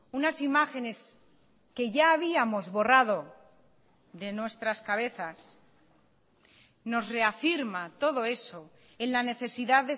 unas imágenes que ya habíamos borrado de nuestras cabezas nos reafirma todo eso en la necesidad